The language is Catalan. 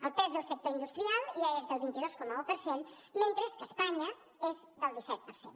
el pes del sector industrial ja és del vint dos coma un per cent mentre que a espanya és del disset per cent